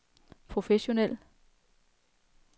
professionel